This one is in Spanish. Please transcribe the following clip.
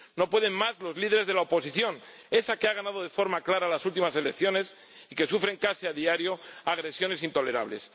No pueden más los líderes de la oposición, esa que ha ganado de forma clara las últimas elecciones y que sufre casi a diario agresiones intolerables.